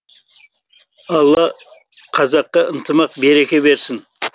алла қазаққа ынтымақ береке берсін